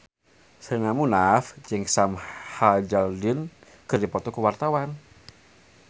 Sherina Munaf jeung Sam Hazeldine keur dipoto ku wartawan